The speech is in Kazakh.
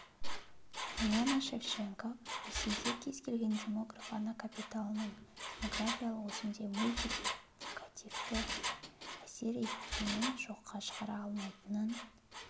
марианна шевченко ресейде кез келген демограф ана капиталының демографиялық өсімге мультипликативті әсер еткенін жоққа шығара алмайтынын